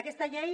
aquesta llei